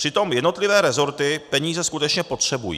Přitom jednotlivé rezorty peníze skutečně potřebují.